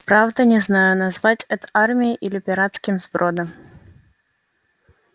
правда не знаю назвать это армией или пиратским сбродом